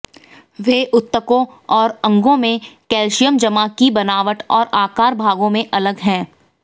वे ऊतकों और अंगों में कैल्शियम जमा की बनावट और आकार भागों में अलग हैं